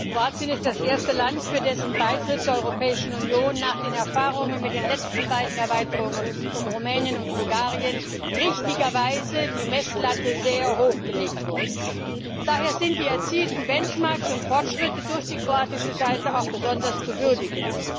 Kroatien ist das erste Land, für dessen Beitritt zur Europäischen Union nach den Erfahrungen mit den letzten beiden Erweiterungen um Rumänien und Bulgarien die Messlatte richtigerweise sehr hoch gelegt wurde. Daher sind die erzielten benchmarks und Fortschritte durch die kroatische Seite auch besonders zu würdigen.